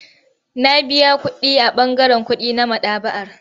Na biya kuɗi a ɓangaren kuɗi na maɗaba'ar.